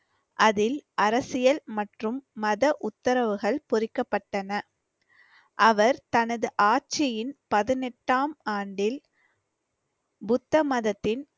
அதில் அரசியல் மற்றும் மத உத்தரவுகள் பொறிக்கப்பட்டன. அவர் தனது ஆட்சியின் பதினெட்டாம் ஆண்டில் புத்த மதத்தின்